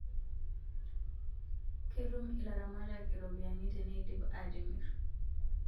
Ketum ilaramatak iropiani teneidip atimir